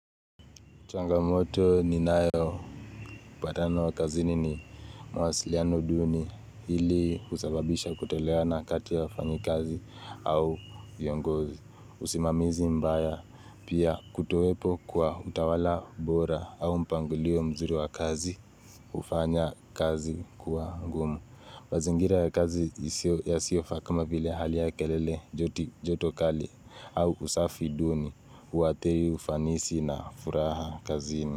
Changamoto ni nayo, mbatano wa kazini ni mawasiliano duni hili husababisha kutolewana kati ya wafanyi kazi au viongozi, usimamizi mbaya, pia kutowepo kwa utawala bora au mpangilio mzuri wa kazi, hufanya kazi kuwa ngumu. Mazingira ya kazi yasiyofaa kama vile hali ya kelele, joto kali au usafi duni uathiri ufanisi na furaha kazini.